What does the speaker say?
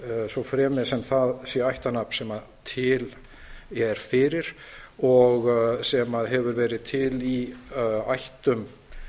svo fremi sem það sé ættarnafn sem til er fyrir og sem hefur verið til í ættum